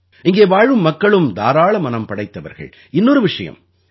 இங்கே வாழும் மக்களும் தாராளமனம் படைத்தவர்கள் இன்னொரு விஷயம்